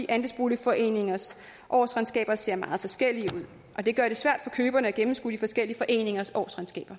andelsboligforeningers årsregnskaber ser meget forskellige ud og det gør det svært for køberne at gennemskue de forskellige foreningers årsregnskab